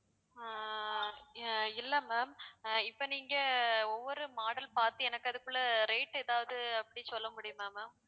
ஆஹ் அஹ் இல்லை ma'am அ இப்ப நீங்க ஒவ்வொரு model பார்த்து எனக்கு அதுக்குள்ள rate ஏதாவது அப்படி சொல்ல முடியுமா ma'am